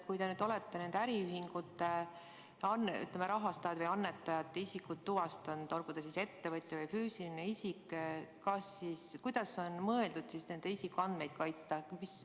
Kui te olete nende ühingute rahastajad või annetajate isikud tuvastanud, olgu need ettevõtjad või füüsilised isikud, kuidas on mõeldud nende isikuandmeid kaitsta?